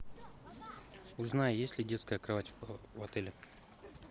узнай есть ли детская кровать в отеле